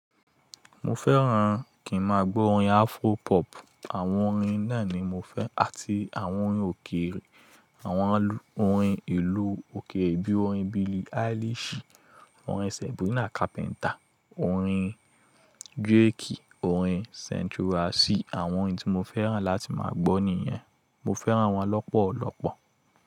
Mo fẹ́ràn kí n máa gbó orin Afro pop, àwọn orin náà ni mo fẹ́ àti àwọn orin òkèèrè, àwọn orin ìlú òkèèrè bí orin Billie Eilish, orin Sabrina Carpenter, orin Drake, orin Central Cee àwọn orin tí mo fẹ́ràn láti máa gbọ́ nìyẹn. Mo fẹ́ràn wọ́n lọ́pọ̀lọ́pọ̀.